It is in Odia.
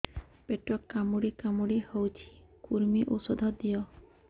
ପେଟ କାମୁଡି କାମୁଡି ହଉଚି କୂର୍ମୀ ଔଷଧ ଦିଅ